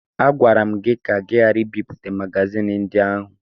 Agwara m gị ka ị ghara ibipụta magazin ndị ahụ!